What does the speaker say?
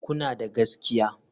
Kuna da gaskiya?